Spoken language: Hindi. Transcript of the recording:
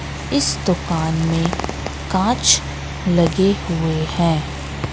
इस दुकान में कांच लगे हुए हैं।